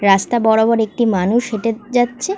রাস্তা বরাবর একটি মানুষ হেটে যাচ্ছে।